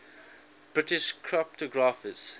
british cryptographers